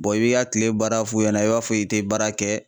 i b'i ka kile baara f'u ɲɛna i b'a fɔ i tɛ baara kɛ